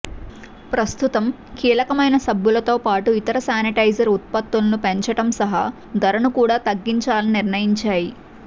ప్రస్తుతం కీలమైన సబ్బులతోపాటు ఇతర శానిటైజర్ ఉత్పత్తులను పెంచడం సహా ధరను కూడా తగ్గించాలని నిర్ణయించాయి